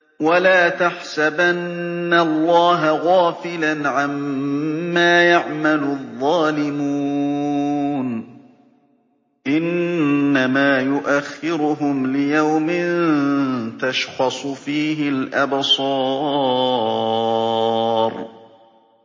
وَلَا تَحْسَبَنَّ اللَّهَ غَافِلًا عَمَّا يَعْمَلُ الظَّالِمُونَ ۚ إِنَّمَا يُؤَخِّرُهُمْ لِيَوْمٍ تَشْخَصُ فِيهِ الْأَبْصَارُ